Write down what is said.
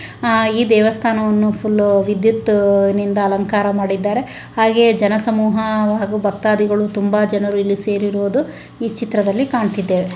ಈ ದೇವಸ್ಥಾನವನ್ನು ವಿದ್ಯುತ್ ನಿಂದ ಅಲಂಕಾರ ಮಾಡಿದ್ದಾರೆ. ಹಾಗೆ ಜನ ಸಮೂಹವಾಗಿ ಭಕ್ತಾದಿಗಳು ತುಂಬಾ ಜನರು ಇಲ್ಲಿ ಸೇರಿರೋದು ಈ ಚಿತ್ರದಲ್ಲಿ ಕಾಣುತ್ತಿದ್ದೇವೆ.